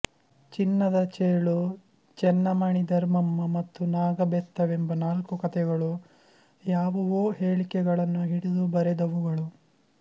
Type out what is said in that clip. ಚಿನ್ನದ ಚೇಳು ಚೆನ್ನಮಣೆ ಧರ್ಮಮ್ಮ ಮತ್ತು ನಾಗಬೆತ್ತವೆಂಬ ನಾಲ್ಕು ಕತೆಗಳು ಯಾವುವೋ ಹೇಳಿಕೆಗಳನ್ನು ಹಿಡಿದು ಬರೆದವುಗಳು